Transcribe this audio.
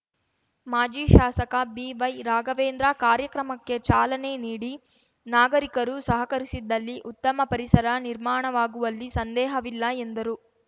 ಮಾಜಿ ಶಾಸಕ ಬಿವೈ ರಾಘವೇಂದ್ರ ಕಾರ್ಯಕ್ರಮಕ್ಕೆ ಚಾಲನೆ ನೀಡಿ ನಾಗರಿಕರು ಸಹಕರಿಸಿದ್ದಲ್ಲಿ ಉತ್ತಮ ಪರಿಸರ ನಿರ್ಮಾಣವಾಗುವಲ್ಲಿ ಸಂದೇಹವಿಲ್ಲ ಎಂದರು